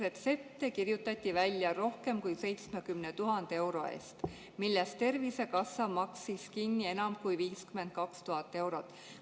Retsepte kirjutati välja rohkem kui 70 000 euro eest, millest kassa maksis kinni enam kui 52 000 eurot.